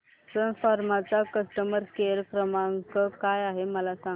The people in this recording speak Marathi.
सन फार्मा चा कस्टमर केअर क्रमांक काय आहे मला सांगा